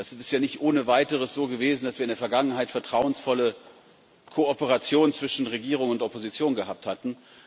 Das ist ja nicht ohne weiteres so gewesen, dass wir in der Vergangenheit eine vertrauensvolle Kooperation zwischen Regierung und Opposition hatten.